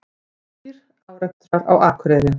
Þrír árekstrar á Akureyri